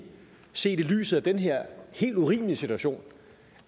set i lyset af den her helt urimelig situation